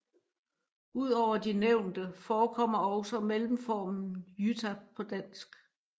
Ud over de nævnte forekommer også mellemformen Jytta på dansk